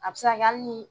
A bɛ se ka kɛ hali ni